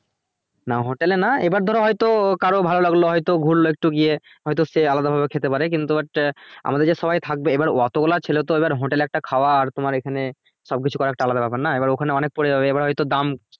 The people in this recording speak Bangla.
না hotel এ না, এবার ধরো হয়তো কারুর ভালো লাগলো হয়তো ঘুরলো একটু গিয়ে হয়তো সে আলাদা ভাবে খেতে পারে কিন্তু but আমাদের যে সবাই থাকবে এবার অতগুলো ছেলে তো এবার hotel এ একটা খাওয়া আর তোমার এখানে সব কিছু করা একটা আলাদা ব্যাপার না এবার ওখানে অনেক পরে যাবে এবার হয়তো দাম